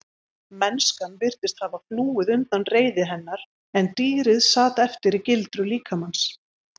Mennskan virtist hafa flúið undan reiði hennar en dýrið sat eftir í gildru líkamans.